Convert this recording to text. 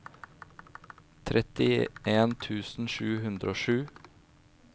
trettien tusen sju hundre og sju